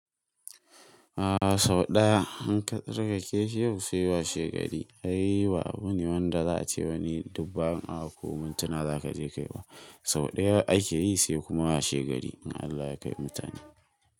A sau ɗaya in ka tsarkake shi yau sai washegari. Ai abu ne wanda za a ce wani duk awa ko mintuna za ka je kayi ba. Sau ɗaya ake yi sai kuma washegari in Allah ya kai mutane.